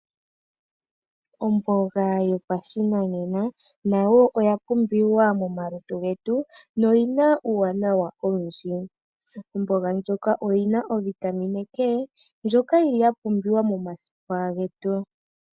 Omboga yopashinanena nayo oya pumbiwa momalutu getu, noyi na uuwanawa owindji. Omboga ndjoka oyi na ovitamine K, ndjoka yi li yapumbiwa momasipa getu.